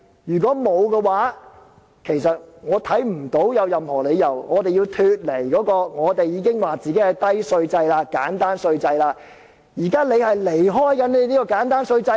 如果不是的話，我看不到有任何理由，我們要脫離我們所謂的簡單低稅制，現在是政府要離開這個簡單低稅制。